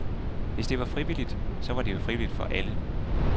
Hvis det var frivilligt, så var det jo frivilligt for alle.